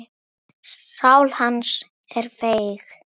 Það sem hún gerði: